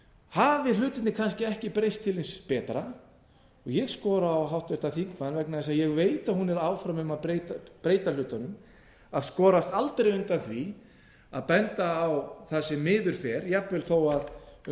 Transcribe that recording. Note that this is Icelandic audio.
hafi hlutirnir kannski ekki breyst til hins betra og ég skora á háttvirtan þingmann vegna þess að ég veit að hún er áfram um að breyta hlutunum að skorast aldrei undan því að benda á það sem miður fer jafnvel þó að um